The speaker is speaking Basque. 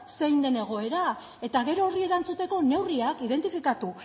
zein den egoera eta gero horri erantzuteko neurriak identifikatu